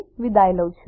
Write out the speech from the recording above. જોડાવા બદ્દલ આભાર